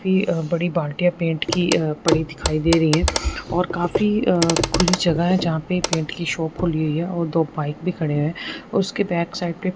अह बड़ी भाटिया पेंट की अह पड़ी दिखाई दे रही है और काफी अह खुली जगह है जहां पे पेंट की शॉप खुली है और दो पाइप भी खड़े हैं उसके बैक साइड पे--